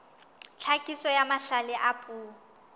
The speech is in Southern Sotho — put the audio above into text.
tlhakiso ya mahlale a puo